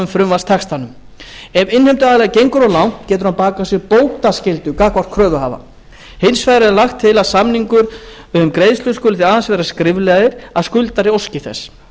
frumvarpstextanum ef innheimtuaðili gengur of langt getur hann bakað sér bótaskyldu gagnvart kröfuhafa hins vegar er lagt til að samningar um greiðslu skuli því aðeins vera skriflegir að skuldari óski þess